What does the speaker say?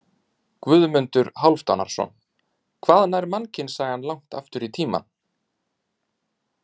Guðmundur Hálfdanarson: Hvað nær mannkynssagan langt aftur í tímann?